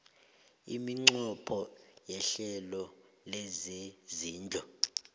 iminqopho yehlelo lezezindlu